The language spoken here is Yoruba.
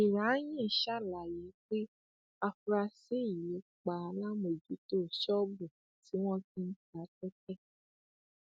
juranyin ṣàlàyé pé afurasí yìí pa alámòójútó ṣọọbù tí wọn ti ń ta tẹtẹ